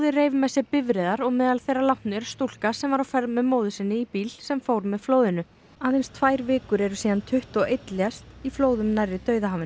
reif með sér bifreiðar og meðal þeirra látnu er stúlka sem var á ferð með móður sinni í bíl sem fór með flóðinu aðeins tvær vikur eru síðan tuttugu og einn lést í flóðum nærri